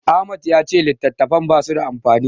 Ahmad ya ce littattafan basu da amfani.